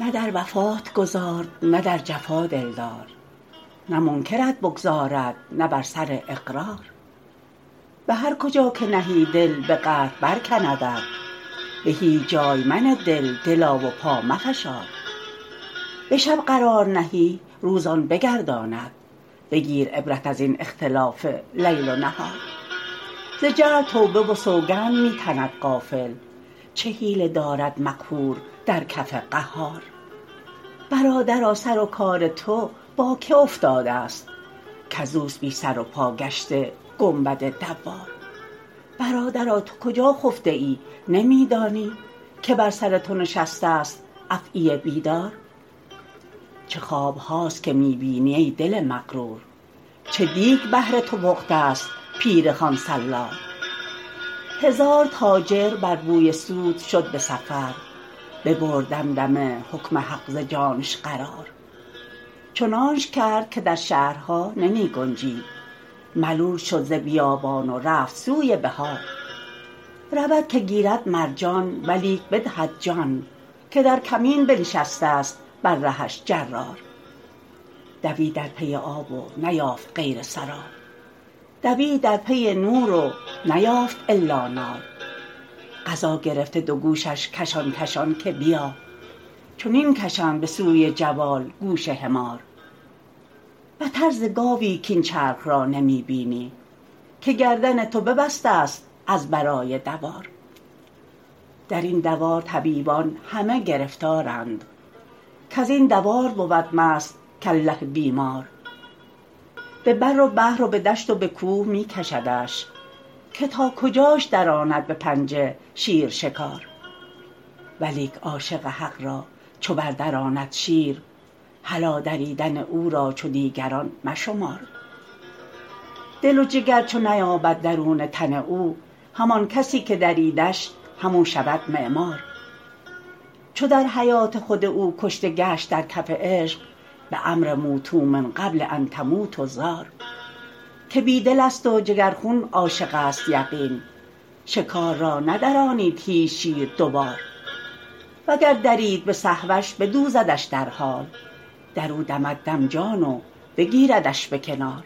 نه در وفات گذارد نه در جفا دلدار نه منکرت بگذارد نه بر سر اقرار به هر کجا که نهی دل به قهر برکندت به هیچ جای منه دل دلا و پا مفشار به شب قرار نهی روز آن بگرداند بگیر عبرت از این اختلاف لیل و نهار ز جهل توبه و سوگند می تند غافل چه حیله دارد مقهور در کف قهار برادرا سر و کار تو با کی افتادست کز اوست بی سر و پا گشته گنبد دوار برادرا تو کجا خفته ای نمی دانی که بر سر تو نشستست افعی بیدار چه خواب هاست که می بینی ای دل مغرور چه دیگ بهر تو پختست پیر خوان سالار هزار تاجر بر بوی سود شد به سفر ببرد دمدمه حکم حق ز جانش قرار چنانش کرد که در شهرها نمی گنجید ملول شد ز بیابان و رفت سوی بحار رود که گیرد مرجان ولیک بدهد جان که در کمین بنشستست بر رهش جرار دوید در پی آب و نیافت غیر سراب دوید در پی نور و نیافت الا نار قضا گرفته دو گوشش کشان کشان که بیا چنین کشند به سوی جوال گوش حمار بتر ز گاوی کاین چرخ را نمی بینی که گردن تو ببستست از برای دوار در این دوار طبیبان همه گرفتارند کز این دوار بود مست کله بیمار به بر و بحر و به دشت و به کوه می کشدش که تا کجاش دراند به پنجه شیر شکار ولیک عاشق حق را چو بردراند شیر هلا دریدن او را چو دیگران مشمار دل و جگر چو نیابد درونه تن او همان کسی که دریدش همو شود معمار چو در حیات خود او کشته گشت در کف عشق به امر موتوا من قبل ان تموتوا زار که بی دلست و جگرخون عاشقست یقین شکار را ندرانید هیچ شیر دو بار وگر درید به سهوش بدوزدش در حال در او دمد دم جان و بگیردش به کنار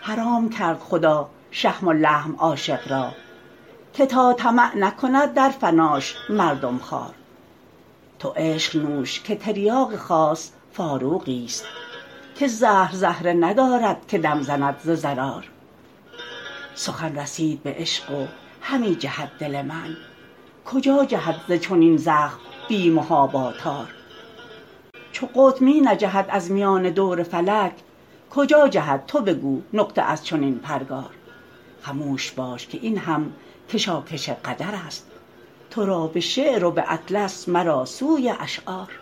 حرام کرد خدا شحم و لحم عاشق را که تا طمع نکند در فناش مردم خوار تو عشق نوش که تریاق خاک فاروقیست که زهر زهره ندارد که دم زند ز ضرار سخن رسید به عشق و همی جهد دل من کجا جهد ز چنین زخم بی محابا تار چو قطب می نجهد از میان دور فلک کجا جهد تو بگو نقطه از چنین پرگار خموش باش که این هم کشاکش قدرست تو را به شعر و به اطلس مرا سوی اشعار